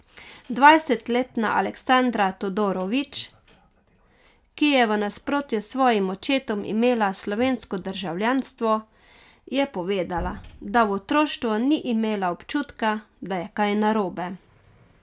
Dvajsetletna Aleksandra Todorović, ki je v nasprotju s svojim očetom imela slovensko državljanstvo, je povedala, da v otroštvu ni imela občutka, da je kaj narobe.